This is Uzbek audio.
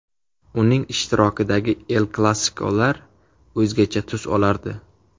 Uning ishtirokidagi ‘El-Klassiko‘lar o‘zgacha tus olardi”.